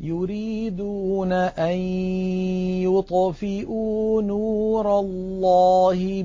يُرِيدُونَ أَن يُطْفِئُوا نُورَ اللَّهِ